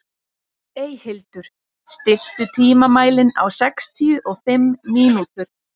Eyhildur, stilltu tímamælinn á sextíu og fimm mínútur.